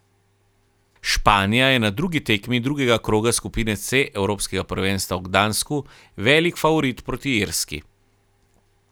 Španija je na drugi tekmi drugega kroga skupine C evropskega prvenstva v Gdansku velik favorit proti Irski.